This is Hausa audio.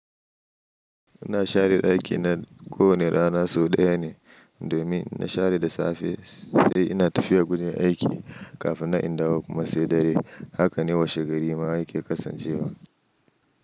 Ina share ɗaki na ko wane rana sau ɗaya ne domin inna share da safe sai ina tafiya gun aiki kafin na indawo kuma sai dare. Haka ne washe gari ma yake kasancewa.